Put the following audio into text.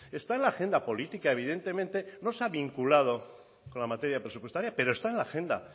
está en la agenda política evidentemente no se ha vinculado con la materia presupuestaria pero está en la agenda